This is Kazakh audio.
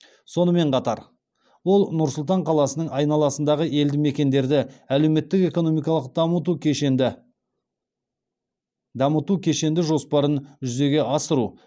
сонымен қатар ол нұр сұлтан қаласының айналасындағы елді мекендерді әлеуметтік экономикалық дамыту кешенді жоспарын жүзеге асыру